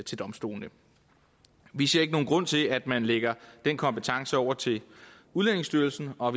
til domstolene vi ser ikke nogen grund til at man lægger den kompetence over til udlændingestyrelsen og